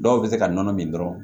Dɔw bɛ se ka nɔnɔ min dɔrɔn